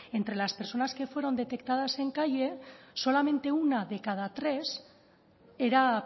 entre las personas que fueron detectadas en calle solamente una de cada tres era